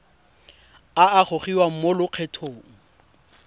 a a gogiwang mo lokgethong